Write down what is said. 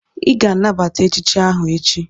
Ị ga-anabata echichi ahụ echi!